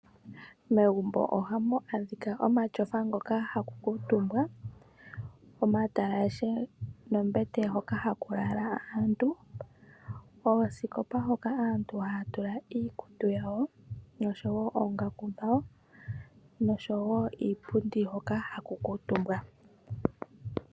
Megumbo ohamu adhika omatyofa ngoka haku kuutumbwa, omatalashe noombete hoka haku lala aantu, oosikopa moka aantu haya tula iikutu noongaku dhawo nosho wo iipundi hoka haku kuutumbwa.